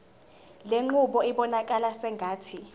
lenqubo ibonakala sengathi